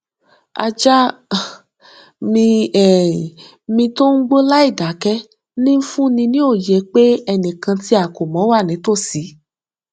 ajá um mi um mi tí ó gbó láìdákẹ ń fún ni ní òye pé ẹnìkan tí a kò mọ wà nítòsí